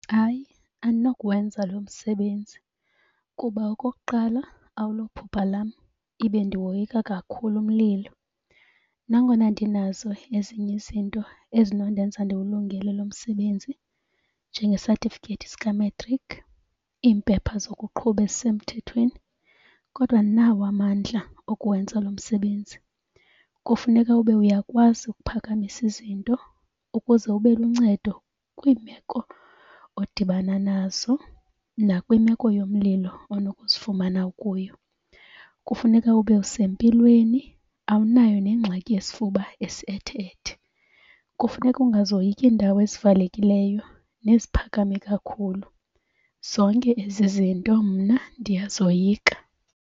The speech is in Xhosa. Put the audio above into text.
Hayi, andinokuwenza lo msebenzi kuba okokuqala awulophupha lam ibe ndiwoyika kakhulu umlilo. Nangona ndinazo ezinye izinto ezinondenza ndiwulungele lo msebenzi njengesatifikethi sika-matric, iimpepha zokuqhuba ezisemthethweni kodwa andinawo amandla okuwenza lo msebenzi. Kufuneka ube uyakwazi ukuphakamisa izinto ukuze ube luncedo kwiimeko odibana nazo nakwimeko yomlilo onokuzifumana ukuyo. Kufuneka ube usempilweni, awunayo nengxaki yesifuba esi ethe-ethe. Kufuneka ukungazoyiki iindawo ezivalekileyo neziphakame kakhulu, zonke ezi zinto mna ndiyazoyika.